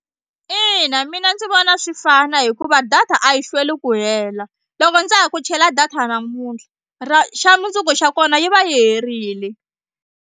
Ina mina ndzi vona swi fana hikuva data a yi hlweli ku hela loko ndza ha ku chela data namuntlha ra xa mundzuku xa kona yi va yi herile.